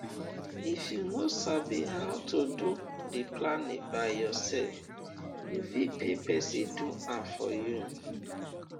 if you no sabi how to do di planning by yourself you fit pay persin do am for you